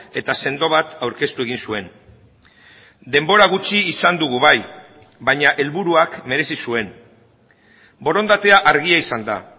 eta sendo bat aurkeztu egin zuen denbora gutxi izan dugu bai baina helburuak merezi zuen borondatea argia izan da